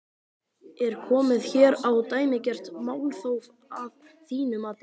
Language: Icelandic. Er komið hér á dæmigert málþóf að þínu mati?